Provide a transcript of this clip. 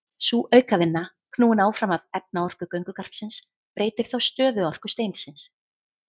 Sú aukavinna, knúin áfram af efnaorku göngugarpsins, breytir þá stöðuorku steinsins.